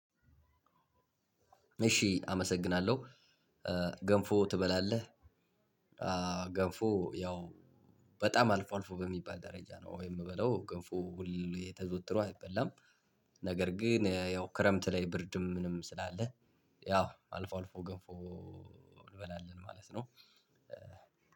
እሺ አመሰግናለሁ ገንፎ ትበላለህ? ገንፎ ያው በጣም አልፎ አልፎ በሚባል ደረጃ ነው? ወይ የምበለው ገንፎ ሁሌ ተዘወትሮ አይበላም። ነገር ግን ያው ክረምት ላይ ብርድም ምንም ስላለ ያው አልፎ አልፎ ገንፎ። እንበላለን ማለት ነው።